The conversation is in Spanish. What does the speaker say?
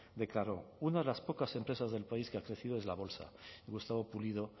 declaró una de las pocas empresas del país que ha crecido es la bolsa y gustavo pulido